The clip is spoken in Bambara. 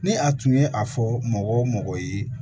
Ni a tun ye a fɔ mɔgɔ o mɔgɔ ye